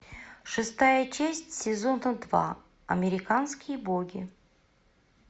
шестая часть сезона два американские боги